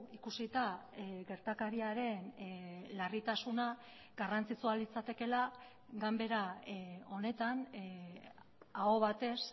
ikusita gertakariaren larritasuna garrantzitsua litzatekeela ganbera honetan aho batez